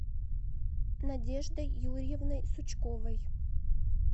надеждой юрьевной сучковой